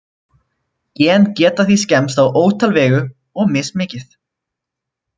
Gen geta því skemmst á ótal vegu, og mismikið.